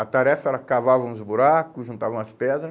A tarefa era cavar uns buracos, juntar umas pedra.